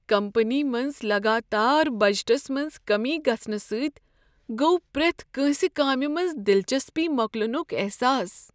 Company منٛز لگاتار budgets منٛز کٔمی گژھنہٕ سۭتۍ گوٚو پرٛیتھ کٲنسہ کامہ منز دلچسپی مۄکلٕنک احساس۔